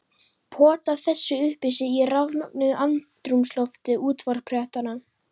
Pota þessu upp í sig í rafmögnuðu andrúmslofti útvarpsfréttanna.